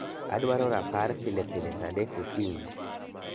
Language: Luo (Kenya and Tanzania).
Adwaro rapar pile pile saa adek okinyi